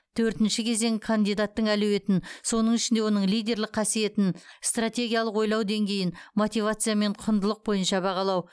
төртінші кезең кандидаттың әлеуетін соның ішінде оның лидерлік қасиетін стратегиялық ойлау деңгейін мотивация мен құндылық бойынша бағалау